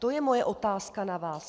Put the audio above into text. To je moje otázka na vás.